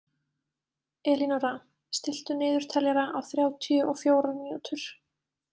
Elínóra, stilltu niðurteljara á þrjátíu og fjórar mínútur.